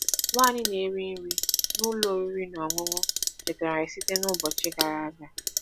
Nwanyị na-eri nri n’ụlọ oriri na ọṅụṅụ chetara anyị site n’ụbọchị gara aga.